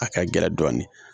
A ka gɛlɛn dɔɔnin